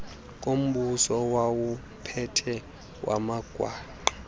kombuso owawuphethe wamagwangqa